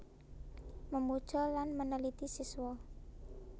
Memuja dan Meneliti Siwa